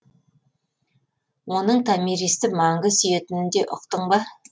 оның томиристы мәңгі сүйетінін де ұқтың ба